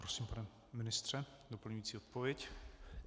Prosím, pane ministře, doplňující odpověď.